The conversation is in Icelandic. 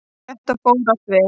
Þetta fór allt vel.